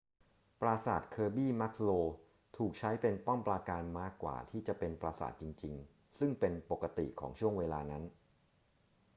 ปราสาท kirby muxloe ถูกใช้เป็นป้อมปราการมากกว่าที่จะเป็นปราสาทจริงๆ ซึ่งเป็นปกติของช่วงเวลานั้น